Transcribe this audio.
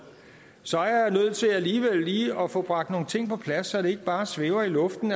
så er jeg nødt til alligevel lige at få bragt nogle ting på plads så det ikke bare svæver i luften